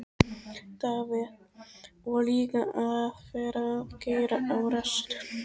Davíð: Og líka að vera að keyra á rassinum.